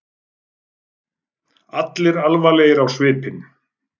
Allir alvarlegir á svipinn.